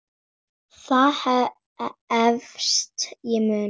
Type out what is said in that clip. Það efast ég um.